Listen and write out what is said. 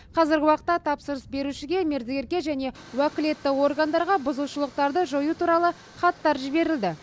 қазіргі уақытта тапсырыс берушіге мердігерге және уәкілетті органдарға бұзушылықтарды жою туралы хаттар жіберілді